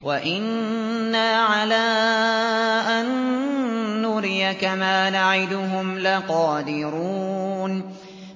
وَإِنَّا عَلَىٰ أَن نُّرِيَكَ مَا نَعِدُهُمْ لَقَادِرُونَ